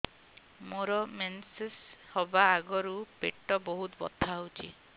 ମୋର ମେନ୍ସେସ ହବା ଆଗରୁ ପେଟ ବହୁତ ବଥା ହଉଚି